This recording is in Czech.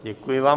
Děkuji vám.